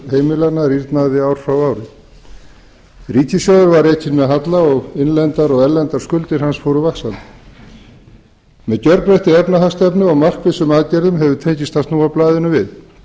heimilanna rýrnaði ár frá ári ríkissjóður var rekinn með halla og innlendar og erlendar skuldir hans fóru vaxandi með gjörbreyttri efnahagsstefnu og markvissum aðgerðum hefur tekist að snúa blaðinu við